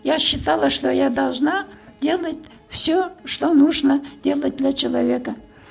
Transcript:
я считала что я должна делать все что нужно делать для человека